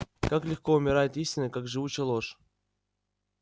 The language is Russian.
как легко умирает истина как живуча ложь